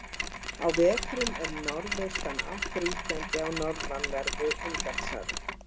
á vetrum er norðaustanátt ríkjandi á norðanverðu indlandshafi